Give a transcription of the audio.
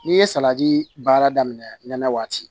N'i ye saladi baara daminɛ nɛnɛ waati